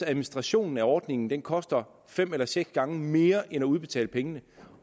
administrationen af ordningen koster fem eller seks gange mere end at udbetale pengene